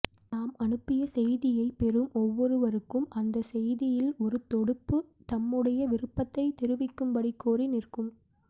நாம் அனுப்பிய செய்தியை பெறும் ஒவ்வொருவருக்கும் அந்த செய்தியில் ஒரு தொடுப்பு தம்முடைய விருப்பத்தை தொரிவிக்கும்படி கோரி நிற்கும்